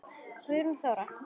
Guðrún Þóra.